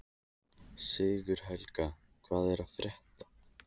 Sigurhelga, hvað er að frétta?